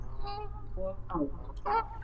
Og á.